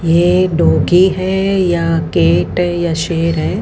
ये एक डॉगी है या कैट या शेर है।